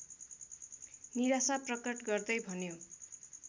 निराशा प्रकट गर्दै भन्यो